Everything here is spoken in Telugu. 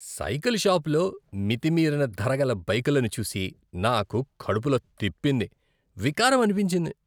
సైకిల్ షాపులో మితిమీరిన ధరగల బైకులను చూసి నాకు కడుపులో తిప్పింది. వికారం అనిపించింది.